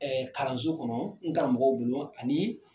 kalanso kɔnɔ n karamɔgɔw ani